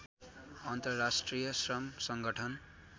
अन्तर्राष्ट्रिय श्रम सङ्गठन